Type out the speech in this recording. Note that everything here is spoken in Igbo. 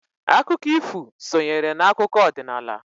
Akụkọ ifu sonyere n'akụkọ ọdinnala.